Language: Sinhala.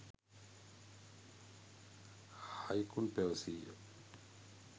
හයිකුන් පැවසීය.